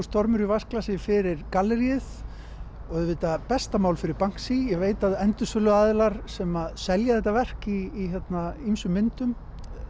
stormur í vatnsglasi fyrir galleríið auðvitað besta mál fyrir Banksy ég veit að sem selja þetta verk í ýmsum myndum